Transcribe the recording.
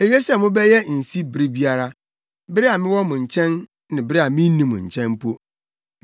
Eye sɛ mobɛyɛ nsi bere biara, bere a mewɔ mo nkyɛn ne bere a minni mo nkyɛn mpo.